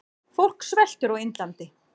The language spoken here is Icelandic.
Fólk sveltur á Indlandi.